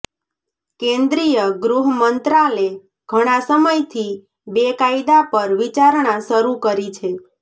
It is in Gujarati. કેન્દ્રીય ગૃહ મંત્રાલે ઘણાં સમયથી બે કાયદા પર વિચારણા શરૂ કરી છે